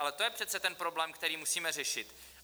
Ale to je přece ten problém, který musíme řešit.